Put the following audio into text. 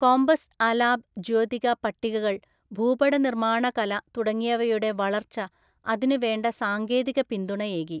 Compass അാലാബ് ജ്യോതിക പട്ടികകൾ ഭൂപടനിർമ്മാണകല തുടങ്ങിയവയുടെ വളർച്ച അതിനുവേണ്ട സാങ്കേതിക പിന്തുണയേകി.